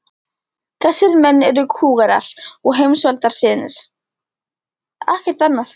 Þessir menn eru kúgarar og heimsvaldasinnar, ekkert annað.